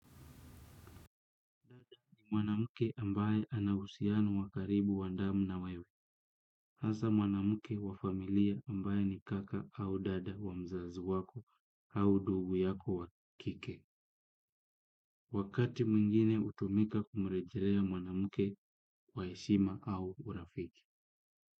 Mwanamke ambaye ana uhusiano wa karibu wa damu na wewe. Hasa mwanamke wa familia ambaye ni kaka au dada wa mzazi wako au ndugu yako wa kike. Wakati mwingine hutumika kumrejelea mwanamke wa heshima au urafiki.